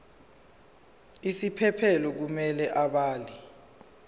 isiphephelo kumele abhale